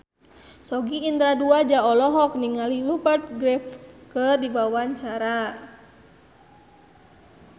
Sogi Indra Duaja olohok ningali Rupert Graves keur diwawancara